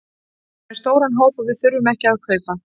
Við erum með stóran hóp og við þurfum ekki að kaupa.